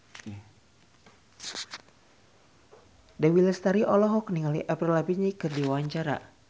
Dewi Lestari olohok ningali Avril Lavigne keur diwawancara